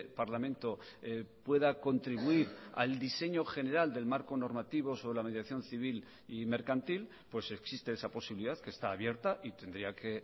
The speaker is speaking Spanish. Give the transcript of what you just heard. parlamento pueda contribuir al diseño general del marco normativo sobre la mediación civil y mercantil pues existe esa posibilidad que está abierta y tendría que